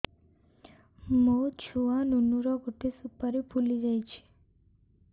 ମୋ ଛୁଆ ନୁନୁ ର ଗଟେ ସୁପାରୀ ଫୁଲି ଯାଇଛି